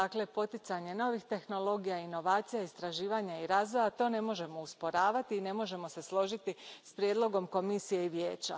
Dakle, poticanje novih tehnologija, inovacija, istraživanja i razvoja to ne možemo usporavati i ne možemo se složiti s prijedlogom Komisije i Vijeća.